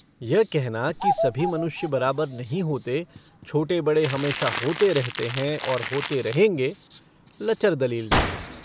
यह कहना कि सभी मनुष्य बराबर नहीं होते, छोटे-बड़े हमेशा होते रहते हैं और होते रहेंगे, लचर दलील थी।